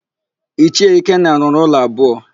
Ichie Ikenna rụrụ ụlọ abụọ.